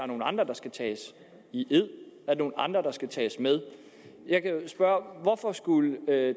nogle andre der skal tages i ed at er nogle andre der skal tages med jeg kan jo spørge hvorfor skulle